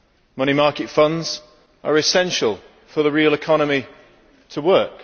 Money market funds are essential for the real economy to work.